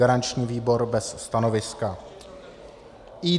Garanční výbor - bez stanoviska.